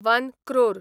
one crore